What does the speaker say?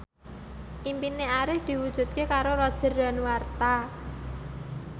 impine Arif diwujudke karo Roger Danuarta